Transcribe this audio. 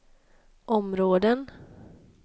områden